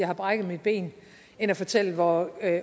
har brækket sit ben end at fortælle hvor